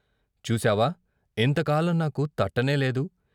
చూశావా ఇంతకాలం నాకు తట్టనేలేదు.